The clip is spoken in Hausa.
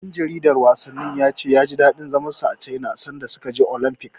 Ɗan jaridar wasannin ya ce ya ji daɗin zaman sa a Caina sanda suka je Olamfik.